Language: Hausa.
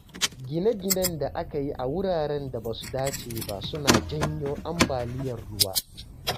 Gine-ginen da aka yi a wuraren da ba su dace ba suna janyo ambaliyar ruwa.